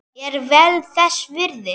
Er vel þess virði.